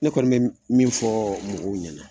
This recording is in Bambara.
Ne kɔni bɛ min fɔ mɔgɔw ɲɛnɛ.